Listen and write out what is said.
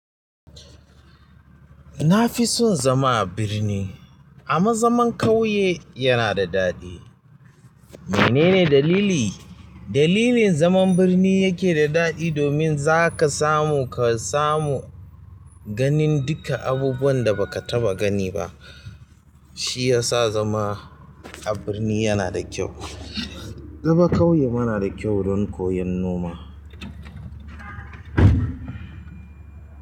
Na fi son zama a birni, amma zaman ƙauye yana da daɗi. Menene dalili? Dalilin zaman birni yake da daɗi domin za ka samu, ka samu ganin duka abubuwan da ba ka taɓa gani ba. Shi ya sa zama a birni yana da kyau. Zama ƙauye ma na da kyau, don koyan noma.